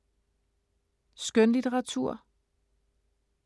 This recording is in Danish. Skønlitteratur